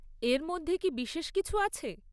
এর মধ্যে কি বিশেষ কিছু আছে?